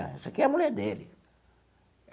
Essa aqui é a mulher dele.